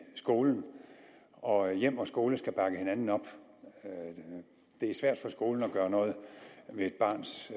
skolen og hjem og skole skal bakke hinanden op det er svært for skolen at gøre noget ved et barns